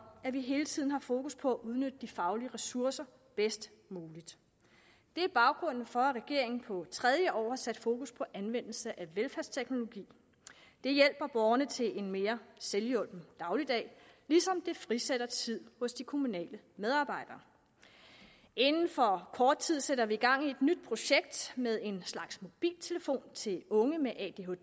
at vi hele tiden har fokus på at udnytte de faglige ressourcer bedst muligt det er baggrunden for at regeringen på tredje år har sat fokus på anvendelse af velfærdsteknologier det hjælper borgerne til en mere selvhjulpen dagligdag ligesom det frisætter tid hos de kommunale medarbejdere inden for kort tid sætter vi gang i et nyt projekt med en slags mobiltelefon til unge med